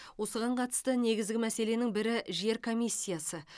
осыған қатысты негізгі мәселенің бірі жер комиссиясы